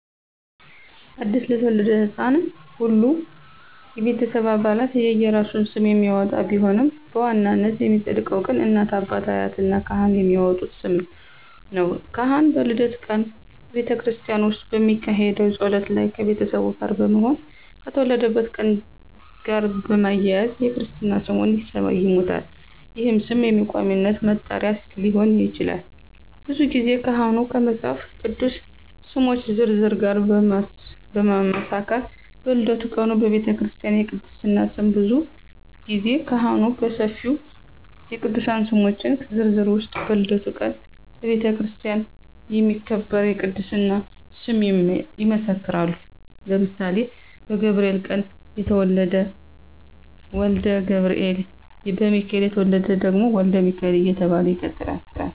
አዲስ ለተወለደ ሕፃን ሁሉም የቤተሰብ አባላት የየራሱን ስም የሚያወጣ ቢሆንም በዋናነት የሚፀድቀው ግን እናት፣ አባት፣ አያት እና ካህን የሚያወጡት ስም ነው። ካህን በልደት ቀን በቤተክርስቲያን ውስጥ በሚካሄደው ጸሎት ላይ ከቤተሰቡ ጋር በመሆን ከተወለደበት ቀን ጋር በማያያዝ የክርስትና ስሙን ይሰይሙታል ይህም ስም በቋሚነት መጠሪያ ሊሆን ይችላል። ብዙ ጊዜ ካህኑ ከመፃፍ ቅዱስ ስሞች ዝርዝር ጋር በማመሳከር በልደቱ ቀን በቤተክርስቲያ የቅድስና ስም ብዙ ጊዜ ካህኑ ከሰፊው የቅዱሳን ስሞች ዝርዝር ውስጥ በልደቱ ቀን በቤተክርስቲያን የሚከበር የቅድስና ስም ይመሰክራሉ ለምሳሌ በገብርኤል ቀን የተወለደ ወልደ ገብርኤል፣ በሚካኤል የተወለደ ደግሞ ወልደ ሚካኤል እየተባለ ይቀጥላለ።